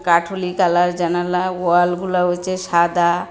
কাঠুলি colour জানালা ওয়ালগুলা হইছে সাদা।